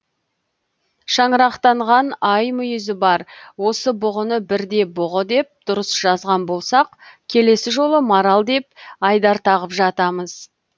шаңырақтанған ай мүйізі бар осы бұғыны бірде бұғы деп дұрыс жазған болсақ келесі жолы марал деп айдар тағып жатамыз